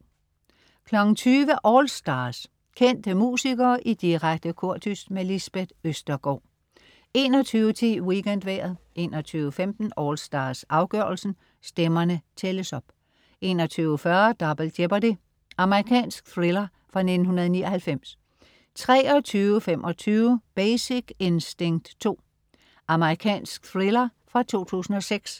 20.00 AllStars. Kendte musikere i direkte kordyst. Lisbeth Østergaard 21.10 WeekendVejret 21.15 AllStars, afgørelsen. Stemmerne tælles op 21.40 Double Jeopardy. Amerikansk thriller fra 1999 23.25 Basic Instinct 2. Amerikansk thriller fra 2006